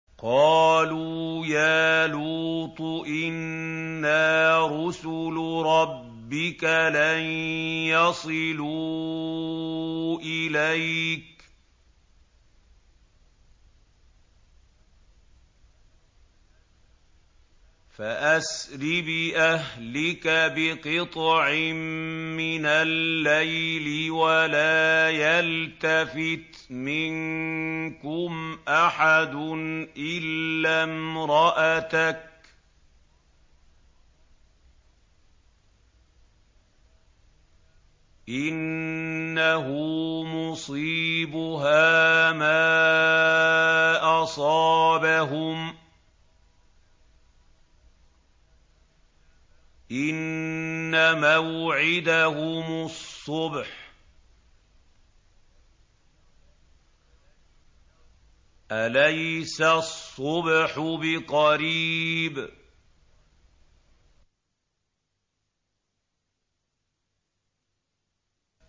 قَالُوا يَا لُوطُ إِنَّا رُسُلُ رَبِّكَ لَن يَصِلُوا إِلَيْكَ ۖ فَأَسْرِ بِأَهْلِكَ بِقِطْعٍ مِّنَ اللَّيْلِ وَلَا يَلْتَفِتْ مِنكُمْ أَحَدٌ إِلَّا امْرَأَتَكَ ۖ إِنَّهُ مُصِيبُهَا مَا أَصَابَهُمْ ۚ إِنَّ مَوْعِدَهُمُ الصُّبْحُ ۚ أَلَيْسَ الصُّبْحُ بِقَرِيبٍ